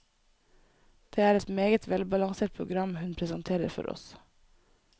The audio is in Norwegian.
Det er et meget velbalansert program hun presenterer for oss.